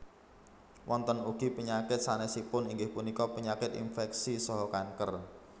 Wonten ugi penyakit sanésipun inggih punika penyakit inféksi saha kanker